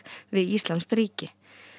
við íslamskt ríki